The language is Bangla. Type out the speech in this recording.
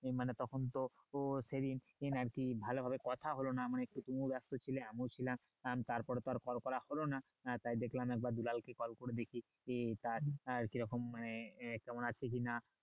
মানে তখন তো ও সেই দিন আর কি ভালো ভাবে কথা হলো না মানে তুমি ব্যাস্ত ছিলে আমিও ছিলাম তার পরে তো আর call করা হলো না তাই দেখলাম একবার দুলালকে call করে দেখি কি কাজ আর কি রকম আহ কেমন আছো কি না